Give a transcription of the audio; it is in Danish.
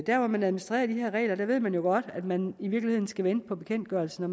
der hvor man administrerer de her regler ved man jo godt at man i virkeligheden skal vente på bekendtgørelsen og